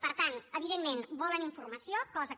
per tant evidentment volen informació cosa que